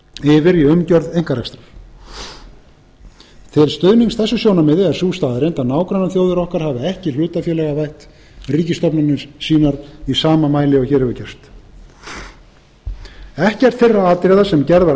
yfir í umgjörð einkarekstrar til stuðnings þessu sjónarmiði er sú staðreynd að nágrannaþjóðir okkar hafa ekki hlutafélagavætt ríkisstofnanir sínar í sama mæli og hér hefur gerst ekkert þeirra atriða sem gerð var athugasemd